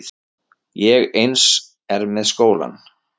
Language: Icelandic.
Og eins er með skólann.